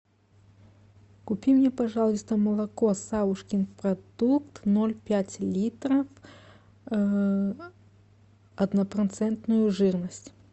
купи мне пожалуйста молоко савушкин продукт ноль пять литра однопроцентную жирность